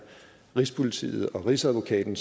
rigspolitiet og rigsadvokaten